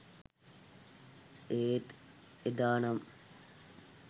ඒත් එදානම්